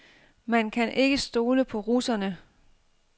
Man kan ikke stole på russerne.